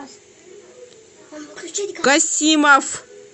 касимов